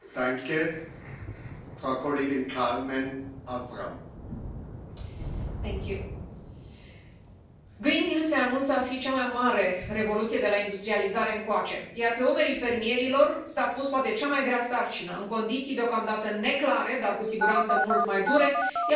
Domnule președinte, Green Deal se anunță a fi cea mai mare revoluție de la industrializare încoace, iar pe umerii fermierilor s a pus poate cea mai grea sarcină. În condiții deocamdată neclare, dar cu siguranță mult mai dure, el va trebui să hrănească sănătos și sustenabil sute de milioane de oameni.